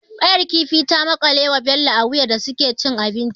Ƙayar kifin ta makale ma Bello a wuya da suke cin abinci.